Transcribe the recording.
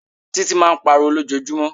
Títí máa ń pariwo lójoojúmọ́.